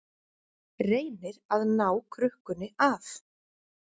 Reynir að ná krukkunni af